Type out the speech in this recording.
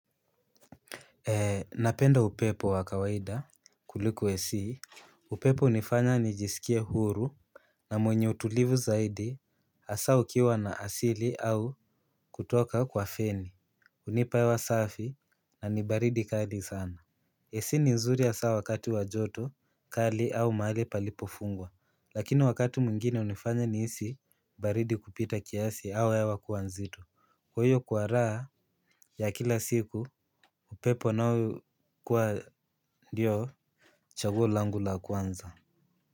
Napenda upepo wa kawaida kuliko ac. Upepo hunifanya nijisikie huru. Na mwenye utulivu zaidi hasaa ukiwa na asili au kutoka kwa feni. Hunipa hewa safi na ni baridi kali sana AC ni nzuri hasaa wakati wa joto kali au mahali palipofungwa. Lakini wakati mwingine hunifanya nihisi baridi kupita kiasi au hewa kuwa nzito. Kwa hiyo kwa raha ya kila siku upepo unaokuwa ndio chaguo langu la kwanza.